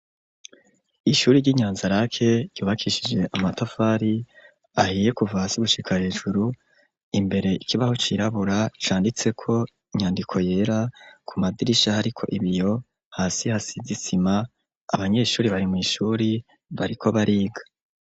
Ishuri ry'inyanza rake ryubakishije amatafari ahiye kuvasi gushika hejuru imbere ikibaho cirabura canditseko inyandiko yera ku madirishaho ari ko ibiyo hasi hasizisima abanyeshuri bari mw'ishuri bariko bariga.